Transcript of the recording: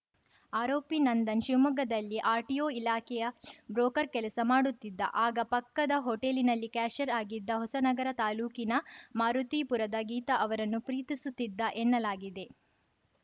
ಆರೋಪಿ ನಂದನ್‌ ಶಿವಮೊಗ್ಗದಲ್ಲಿ ಆರ್‌ಟಿಒ ಇಲಾಖೆಯ ಬ್ರೋಕರ್‌ ಕೆಲಸ ಮಾಡುತ್ತಿದ್ದ ಆಗ ಪಕ್ಕದ ಹೋಟೇಲಿನಲ್ಲಿ ಕ್ಯಾಶಿಯರ್‌ ಆಗಿದ್ದ ಹೊಸನಗರ ತಾಲೂಕಿನ ಮಾರುತಿಪುರದ ಗೀತಾ ಅವರನ್ನು ಪ್ರೀತಿಸುತ್ತಿದ್ದ ಎನ್ನಲಾಗಿದೆ